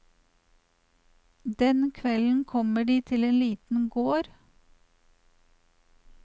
Den kvelden kommer de til en liten gård.